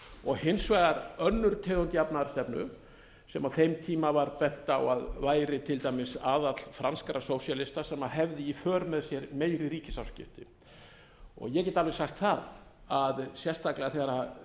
blairisminn hins vegar önnur tegund jafnaðarstefnu sem á þeim tíma var bent á að væri til dæmis aðall franskra sósíalista sem hefði í för með sér meiri ríkisafskipti ég get alveg sagt það að sérstaklega þegar